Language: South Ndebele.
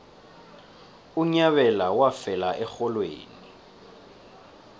unyabela wafela erholweni